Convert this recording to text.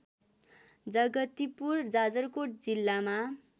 जगतिपुर जाजरकोट जिल्लामा